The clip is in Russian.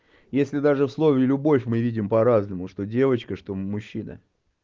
если даже в слове любовь мы видим по-разному что девочка что мужчина